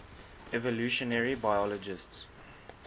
evolutionary biologists